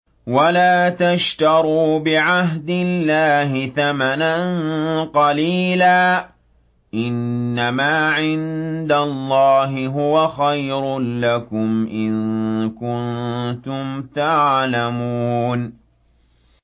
وَلَا تَشْتَرُوا بِعَهْدِ اللَّهِ ثَمَنًا قَلِيلًا ۚ إِنَّمَا عِندَ اللَّهِ هُوَ خَيْرٌ لَّكُمْ إِن كُنتُمْ تَعْلَمُونَ